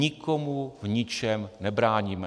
Nikomu v ničem nebráníme.